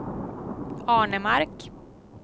Arnemark